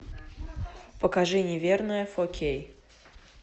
покажи неверная фор кей